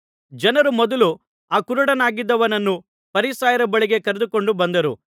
ಜನರು ಮೊದಲು ಆ ಕುರುಡನಾಗಿದ್ದವನನ್ನು ಫರಿಸಾಯರ ಬಳಿಗೆ ಕರೆದುಕೊಂಡು ಬಂದರು